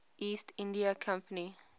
east india company